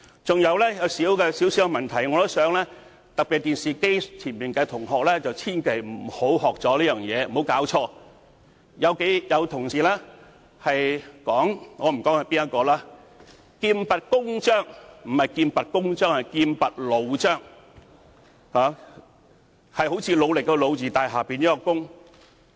此外，還有一個小問題，我希望在電視機前收看的同學千萬不要學習，就是有同事——我且不說是哪一位——說"劍拔弩張"，但應該是"劍拔弩張"，看似努力的"努"字，但下面是個"弓"字。